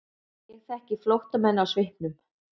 Ég þekki flóttamenn á svipnum.